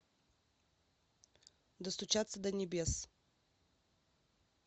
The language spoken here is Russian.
достучаться до небес